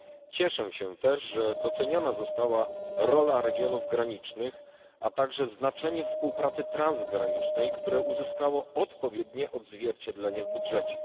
Cieszę się też, że doceniona została rola regionów granicznych, a także znaczenie współpracy transgranicznej, które uzyskało odpowiednie odzwierciedlenie w budżecie.